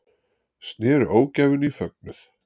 Snéru ógæfunni í fögnuð